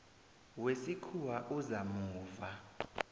wesikhuwa oza muva